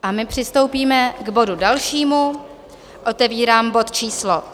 A my přistoupíme k bodu dalšímu, otevírám bod číslo